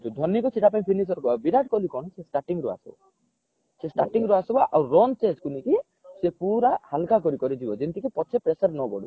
ଧୋନୀକୁ ସେଟା ପାଇଁ finisher କୁହାଯାଏ ବିରାଟ କୋହଲୀ କଣ ସେ starting ଆସିବ ଆଉ ସେ run chase କୁ ନେଇକି ସେ ପୁରା ହାଲକା କରିକରି ଯିବ ଯେମିତି କି ପଛରେ pressure ନ ବଢୁ